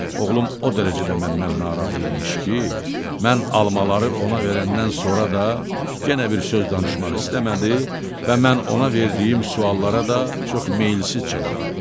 Oğlum o dərəcədə məndən narazı imiş ki, mən almaları ona verəndən sonra da yenə bir söz danışmaq istəmədi və mən ona verdiyim suallara da çox meyilsiz cavab verdi.